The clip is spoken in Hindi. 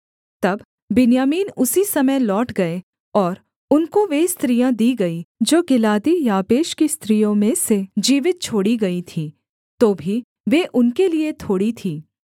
तब बिन्यामीन उसी समय लौट गए और उनको वे स्त्रियाँ दी गईं जो गिलादी याबेश की स्त्रियों में से जीवित छोड़ी गईं थीं तो भी वे उनके लिये थोड़ी थीं